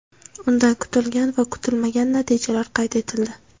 Unda kutilgan va kutilmagan natijalar qayd etildi.